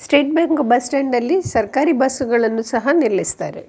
State bank bus stand ಅಲ್ಲಿ ಸರ್ಕಾರೀ bus ಗಳನ್ನೂ ಸಹ ನಿಲ್ಲಿಸ್ತಾರೆ.